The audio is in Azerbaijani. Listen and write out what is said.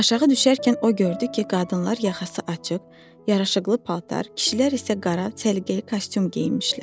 Aşağı düşərkən o gördü ki, qadınlar yaxası açıq, yaraşıqlı paltar, kişilər isə qara, səliqəli kostyum geyinmişlər.